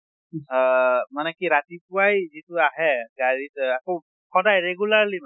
আহ মানে কি ৰাতিপুৱাই যিটো আহে গাড়ীত আকৌ সদায় regularly মানে